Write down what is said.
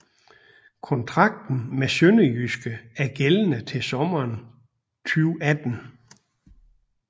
Kontrakten med SønderjyskE er gældende til sommeren 2018